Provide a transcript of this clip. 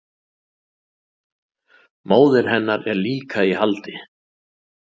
Móðir hennar er líka í haldi